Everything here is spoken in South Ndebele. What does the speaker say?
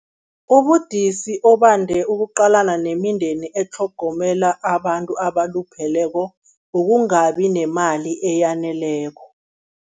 Ubudisi obande ukuqalana nemindeni etlhogomela abantu abalupheleko, ukungabi nemali eyaneleko.